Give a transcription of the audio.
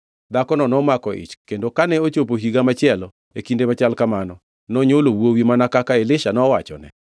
Dhakono nomako ich kendo kane ochopo higa machielo e kinde machal kamano, nonywolo wuowi mana kaka Elisha nowachone.